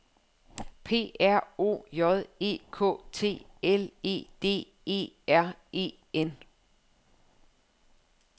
P R O J E K T L E D E R E N